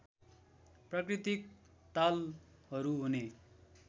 प्राकृतिक तालहरू हुने